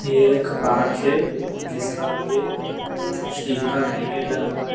ये एक पार्क है जिसका आगे स्टील का बैरिकेड लगा हुआ है।